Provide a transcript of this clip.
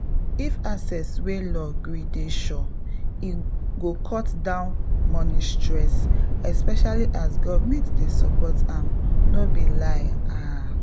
if access wey law gree dey sure e go cut down money stress—especially as government dey support am no be lie ah!